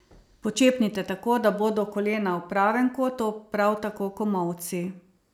Počepnite tako, da bodo kolena v pravem kotu, prav tako komolci.